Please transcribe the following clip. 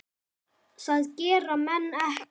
Það gera menn ekki.